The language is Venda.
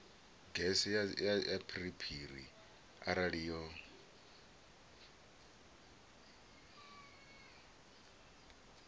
gese ya phiriphiri arali yo